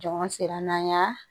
Jɔn sera n'an y'a